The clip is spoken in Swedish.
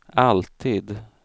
alltid